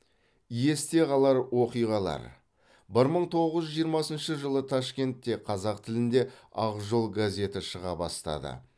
есте қалар оқиғалар бір мың тоғыз жүз жиырмасыншы жылы ташкентте қазақ тілінде ақ жол газеті шыға бастады